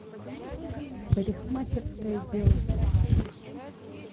парикмахерское дело